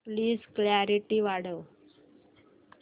please clarity वाढव